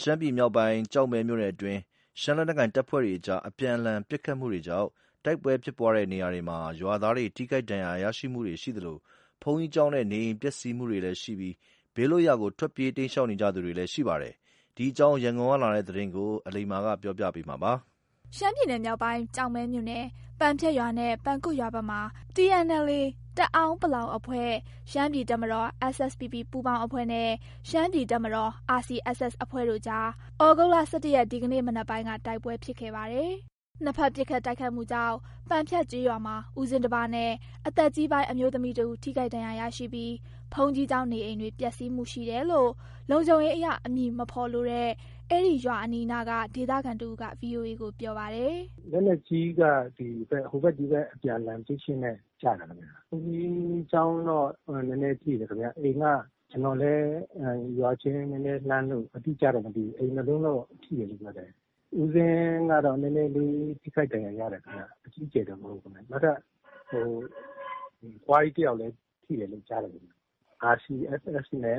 ရှမ်းပြည်မြောက်ပိုင်း၊ ကျောက်မဲမြို့နယ်အတွင်း TNLA ၊ SSPP ပူပေါင်းအဖွဲ့နဲ့ RCSS တို့အကြား တိုက်ပွဲ ဖြစ်ပွားတဲ့နေရာတွေမှာ ရွာသားတွေ ထိခိုက်ဒဏ်ရာရသူတွေရှိသလို၊ ဘုန်းကြီးကျောင်းနဲ့ နေအိမ်ပျက်စီးမှုရှိပြီး ဘေးလွတ်ရာ ထွက်ပြေးတိမ်းရှောင်နေကြသူလည်း ရှိပါတယ်။ ဒီအကြောင်း ရန်ကုန်ကလာတဲ့ သတင်းကို အလိမ္မာ က တင်ပြမှာပါ။ ရှမ်းပြည်နယ်မြောက်ပိုင် ကျောက်မဲမြို့နယ်၊ ပန်ဖြတ်ရွာနဲ့ ပန်ကွမ်ရွာဘက်မှာ TNLA တအောင်းပလောင်အဖွဲ့၊ ရှမ်းပြည်တပ်မတော် SSPP ပူးပေါင်းအဖွဲ့နဲ့ ရှမ်းပြည်တပ်မတော် RCSS အဖွဲ့တို့ကြား သြဂုတ်လ ၁၁ ရက် ဒီကနေ့ မနက်ပိုင်းက တိုက်ပွဲဖြစ်ခဲ့ပါတယ်။ နှစ်ဖက်ပစ်ခတ်တိုက်ခိုက်မှုကြောင့် ပန်ဖြတ်ကျေးရွာမှာ ဦးဇင်းတစ်ပါးနဲ့ အသက်ကြီးပိုင်း အမျိုးသမီးတစ်ဦး ထိခိုက်ဒဏ်ရာရရှိပြီး ဘုန်းကြီးကျောင်း၊ နေအိမ်တွေ ပျက်စီးမှုရှိတယ်လို့ လုံခြုံရေးအရ အမည်အဖော်လိုတဲ့ အဲ့ဒီရွာနီးနားက ဒေသခံတစ်ဦးက ဗွီအိုအေကိုပြောပါတယ်။ “လက်နက်ကြီးက ဒီဘက် ဟိုဘက်ဒီဘက် အမြန်အလှန် ပစ်ရင်းနဲ့ ကျလာတာခင်ဗျ။ ဘုန်းကြီးကျောင်းတော့ နည်းနည်းထိတယ်ခင်ဗျ။ အိမ်က ကျနော်လည်း ရွာချင်းနည်းနည်းလှမ်းလို့ အတိအကျတော့ မသိဘူး။ အိမ်နှစ်လုံးတော့ ထိတယ်လို့ ပြောတယ်။ ဦးဇင်းကတော့ နည်းနည်းလေး ထိခိုက်ဒဏ်ရာရတယ်ခင်ဗျ။ အကြီးအကျယ်တော့ မဟုတ်ဘူး။ နောက်ထပ် အဖွားကြီးတစ်ယောက်လည်း ထိတယ်လို့ ကြားတယ် ခင်ဗျ။ RCSS နဲ့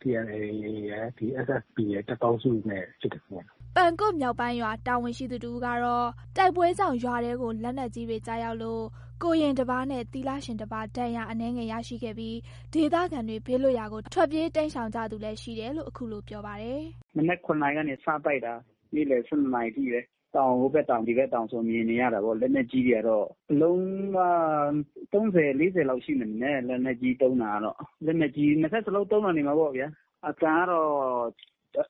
TNLA ရယ် ဒီ SSPP ရယ် တပ်ပေါင်းစုနဲ့ ဖြစ်တာခင်ဗျ။” ပန်ကွမ်မြောက်ပိုင်းရွာ တာဝန်ရှိသူတစ်ဦးကတော့ တိုက်ပွဲကြောင့် ရွာထဲကို လက်နက်ကြီးတွေ ကျရောက်လို့ ကိုယ်ရင်တစ်ပါးနဲ့ သီလရှင်တစ်ပါး ဒဏ်ရာအနည်းငယ် ရရှိခဲ့ပြီး ဒေသခံတွေ ဘေးလွတ်ရာကို ထွက်ပြေးတိမ်းရှောင်ကြသူလည်း ရှိတယ်လို့ အခုလို့ ပြောပါတယ်။ “မနက် ၇ နာရီကနေ စတိုက်တာ နေ့လည် ၁၂ နာရီထိပဲ။ ဟိုဘက်တောင်၊ ဒီဘက်တောင်ဆိုတော့ မြင်နေရတာပေ့ါ။ လက်နက်ကြီးတွေကတော့ အလုံးက ၃၀၊ ၄၀ လောက်ရှိမယ်ထင်တယ်။ လက်နက်ကြီးသုံးတာတော့ လက်နက်ကြီး နှစ်ဖက်စလုံးသုံးတာနေမှာပေါ့ဗျ။ အသံကတော့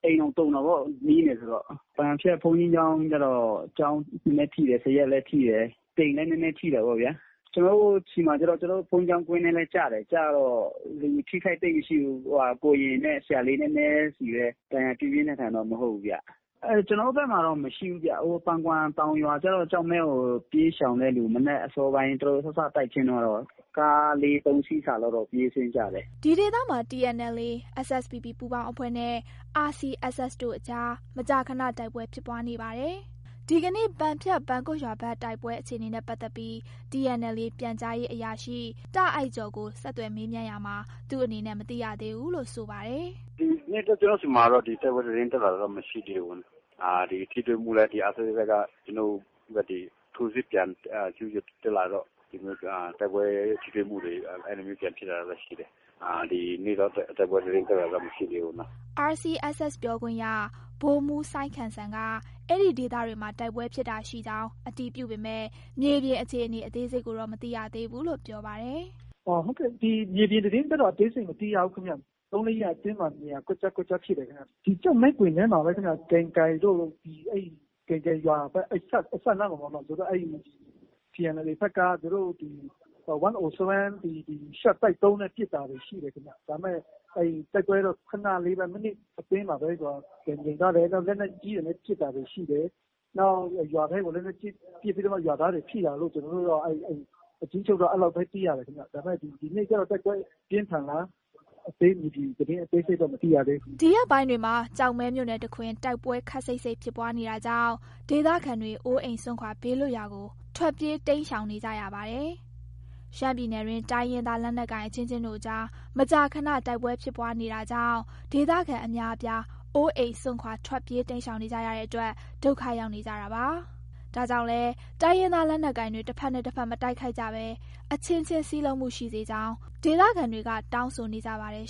အိမ်တောင်တုန်တာပေါ့ နီးတယ်ဆိုတော့။ ပန်ဖြတ် ဘုန်းကြီးကျောင်းကတော့ ကျောင်းနည်းနည်းထိတယ်။ ဇရပ်လည်း ထိတယ်။ အိမ်လည်း နည်းနည်းထိတာပေါ့ဗျာ။ ကျနော်တို့ဆီမှာတော့ ကျနော်တို့ ဘုန်းကြီးကျောင်းဝင်းထဲလည်းကျတယ်။ ကျတော့ အထိအခိုက်သိပ်မရှိဘူ။း ဟိုဟာ ကိုယ်ရင်နဲ့ ဆရာလေး နည်းနည်းဆီပဲ ဒဏ်ရာပြင်းပြင်းထန်ထန်တော့ မဟုတ်ဘူးဗျ၊ ကျနော်တို့ဘက်မှာတော့ မရှိဘူးဗျ။ ဟိုပန်ကွမ်တောင်ရွာကျတော့ ကျောက်မဲကို ပြေးရှောင်တဲ့လူ မနက်အစောပိုင်း သူတို့ စစတိုက်ချင်းကတော့ ကား ၃၊ ၄ စီးစာလောက်တော့ ပြေးဆင်းကြတယ်။” ဒီဒေသမှာ TNLA ၊ SSPP ပူပေါင်းအဖွဲ့နဲ့ RCSS တို့အကြား မကြာခဏ တိုက်ပွဲ ဖြစ်ပွားနေပါတယ်။ ဒီကနေ့ ပန်ဖြတ်၊ ပန်ကွမ်ရွာဘက် တိုက်ပွဲအခြေအနေနဲ့ ပတ်သက်ပြီး TNLA ပြန်ကြားရေးအရာရှိ ဗိုလ်မှူး တာ့အိုက်ကျော်ကို ဆက်သွယ်မေးမြန်းရာမှာ သူအနေနဲ့ မသိရသေးဘူးလို့ ဆိုပါတယ်။ “ဒီမနက်တော့ ကျနော်ဆီမှာတော့ တိုက်ပွဲသတင်းတက်လာတာမရှိသေးဘူး။ ထိတွေ့မှုလည်း ဒီ RCSS က ကျနော်တို့ဖက်တွေ ထိုးစစ်ပြန်ကျူးကျော်တက်လာရင်တော့ ဒီလိုမျိုး တိုက်ပွဲထိတွေ့မှုတွေ၊ အဲ့လိုမျိုးပြန်ဖြစ်တာရှိတယ်။ ဒီနေ့တော့ တိုက်ပွဲသတင်းတက်လာတာတော့ မရှိသေးဘူးနော်။” RCSS ပြောခွင့်ရ ဗိုလ်မှူးစိုင်းခမ်းစံက အဲ့ဒီဒေသတွေမှာ တိုက်ပွဲဖြစ်တာရှိကြောင်း အတည်ပြုပေမယ့် မြေပြင်အခြေအနေ အသေးစိတ်ကိုတော့ မသိရသေးဘူးလို့ ပြောပါတယ်။ “ဟုတ်ကဲ့ မြေပြင်သတင်းက အသေးစိတ်မရှိရဘူးခင်ဗျ။ ၃၊ ၄ ရက်အတွင်းမှာ နေရာကွက်ကျား ကွက်ကျား ဖြစ်တယ်ခင်ဗျ၊ ဒီကျောက်မဲကွင်းထဲမှာပဲခင်ဗျ။ ကိုက်တိုင်တို့ ကိုက်တိုင်ရွာဘက် အဲ့အစပ်နားမှာ သူတို့ အဲ့ TNLA ဘက်က သူတို့ 1O7 ဒီရှော့တိုက်ဒုံ ပစ်တာတွေရှိတယ်ခင်ဗျ။ ဒါပေမယ့် တိုက်ပွဲတော့ ခဏလေးပဲ မိနစ်အတွင်းပဲ ပြန်ငြိမ်သွားတယ်၊ နောက်လက်နက်ကြီးတွေနဲ့ ပစ်တာတွေ ရှိတယ်။ နောက် ရွာထဲကိုလည်း လက်နက်ကြီးပစ်ပြီးတော့မှ ရွာသားတွေ ထိတာတို့ ကျနော်တို့တော့ အကျဉ်းချုပ်က အဲ့လောက်ပဲ သိရတယ်ခင်ဗျ။ ဒါပေမယ့် ဒီနေ့ကျတော့ တိုက်ပွဲပြင်းထန်လာတဲ့ သတင်းအသေးစိတ်တော့ မရှိရသေးဘူးခင်ဗျ။” ဒီရက်ပိုင်းတွေမှာ ကျောက်မဲမြို့နယ်တစ်ခွင် တိုက်ပွဲခပ်စိပ်စိပ်ဖြစ်ပွားနေတာကြောင့် ဒေသခံတွေလည်း အိုးအိမ်စွန့်ခွာ ဘေးလွတ်ရာကို ထွက်ပြေး တိမ်းရှောင်နေကြရပါတယ်။ ရှမ်းပြည်နယ်တွင်း တိုင်းရင်းသား လက်နက်ကိုင်အချင်းချင်းတို့အကြား မကြာခဏ တိုက်ပွဲဖြစ်ပွားနေတာကြောင့် ဒေသခံအများအပြား အိုးအိမ်စွန့်ခွာ ထွက်ပြေးတိမ်းရှောင်နေကြရတဲ့အတွက် ဒုက္ခရောက်နေကြပါတာ။ ဒါကြောင့်လည်း တိုင်းရင်းသား လက်နက်ကိုင်တွေ တစ်ဖက်နဲ့ တစ်ဖက် မတိုက်ခိုက်ကြဘဲ အချင်းချင်း စည်းလုံးမှုရှိ စေချင်ကြောင်း ဒေသခံတွေက တောင်းဆိုနေကြပါတယ်